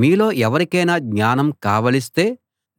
మీలో ఎవరికైనా జ్ఞానం కావలిస్తే